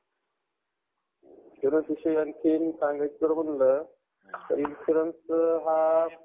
insurance विषयी आणखीन सांगायचं जर म्हणलं तर insurance हा